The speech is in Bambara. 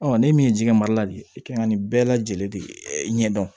ne min ye jɛgɛ mara la de ye i kan ka nin bɛɛ lajɛlen de ɲɛdɔn